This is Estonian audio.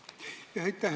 Aitäh!